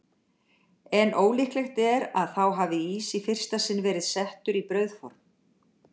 En ólíklegt er að þá hafi ís í fyrsta sinn verið settur í brauðform.